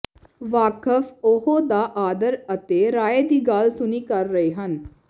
ਵਾਕਫ਼ ਉਹ ਦਾ ਆਦਰ ਅਤੇ ਰਾਏ ਦੀ ਗੱਲ ਸੁਣੀ ਕਰ ਰਹੇ ਹਨ